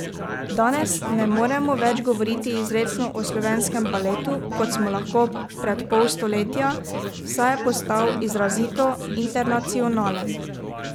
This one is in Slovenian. Danes ne moremo več govoriti izrecno o slovenskem baletu, kot smo lahko pred pol stoletja, saj je postal izrazito internacionalen.